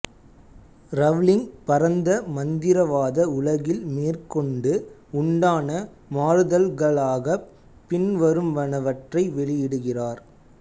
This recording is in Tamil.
ரவ்லிங் பரந்த மந்திரவாத உலகில்மேற்கொண்டு உண்டான மாறுதல்களாகப் பின்வருவனவற்றை வெளியிடுகிறார்